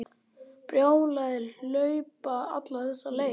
Brjálæði að hlaupa alla þessa leið.